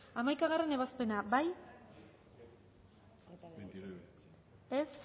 hamaikagarrena ebazpena bozkatu dezakegu